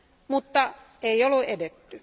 Mutta ei ole edetty.